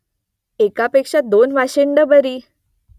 एकापेक्षा दोन वाशिंडं बरी !